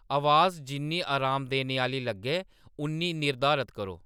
अवाज जिन्नी अराम देने आह्वी लग्गे उन्नी निर्धारत करो